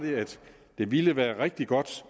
det ville være rigtig godt